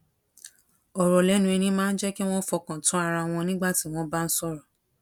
òrò lénu ẹni máa ń jé kí wón fọkàn tán ara wọn nígbà tí wón bá ń sòrò